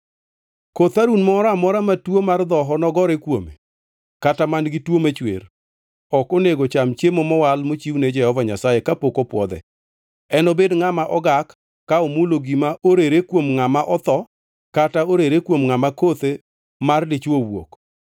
Koth Harun moro amora matuo mar dhoho nogore kuome kata man-gi tuo machwer, ok onego cham chiemo mowal mochiwne Jehova Nyasaye kapok opwodhe. Enobed ngʼama ogak ka omulo gima orere kuom ngʼama otho kata orere kuom ngʼama kothe mar dichwo owuok,